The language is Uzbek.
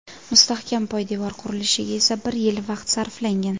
Mustahkam poydevor qurilishiga esa bir yil vaqt sarflangan.